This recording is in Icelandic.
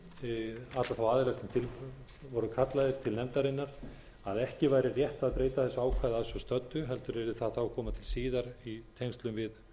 þá aðila sem til voru kallaðir til nefndarinnar að ekki væri rétt að breyta þessu ákvæði að svo stöddu heldur yrði það þá að koma til síðar í tengslum við